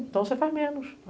Então você faz menos.